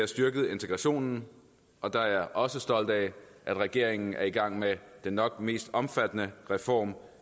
styrket integrationen og der er jeg også stolt af at regeringen er i gang med den nok mest omfattende reform